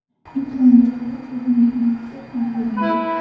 Ekranga qarab ko‘zingizni qisib ham qo‘ydingiz.